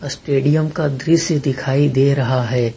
Stadium का दृश्य दिखाई दे रहा है।